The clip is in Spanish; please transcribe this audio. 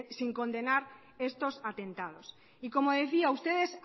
sin condenar estos atentados y como decía ustedes